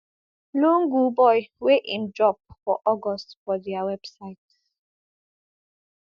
lungu boy wey im drop for august for dia website